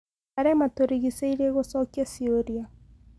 maria maturigicĩĩrie gucokia ciuria